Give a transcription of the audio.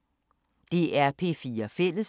DR P4 Fælles